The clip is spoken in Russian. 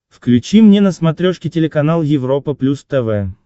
включи мне на смотрешке телеканал европа плюс тв